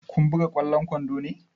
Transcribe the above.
Kun buga ƙwallon kwando ne?